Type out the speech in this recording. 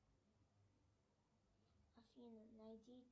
афина найди